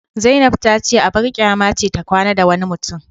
Zainab tace abar kyama ce ta kwana da wani mutum